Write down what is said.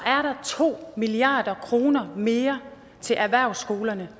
er der to milliard kroner mere til erhvervsskolerne